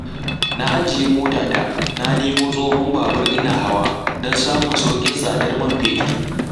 Na ajiye motata na nemo tsohon babur ina hawa, don samun sauƙin tsadar man fetur.